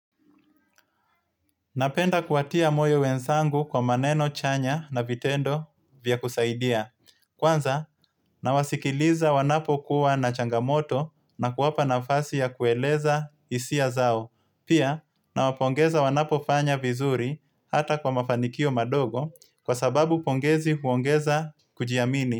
Napenda kuwatia moyo wenzangu kwa maneno chanya na vitendo vya kusaidia. Kwanza, nawasikiliza wanapokuwa na changamoto na kuwapa nafasi ya kueleza hisia zao. Pia nawapongeza wanapofanya vizuri hata kwa mafanikio madogo kwa sababu pongezi huongeza kujiamini.